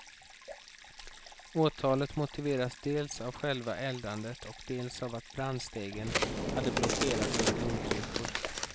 Åtalet motiveras dels av själva eldandet och dels av att brandstegen hade blockerats med blomkrukor.